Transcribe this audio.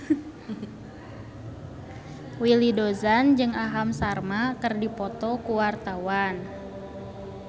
Willy Dozan jeung Aham Sharma keur dipoto ku wartawan